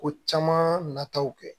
Ko caman nataw kɛ